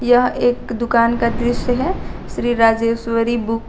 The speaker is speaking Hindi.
यह एक दुकान का दृश्य है श्री राजेश्वरी बुक --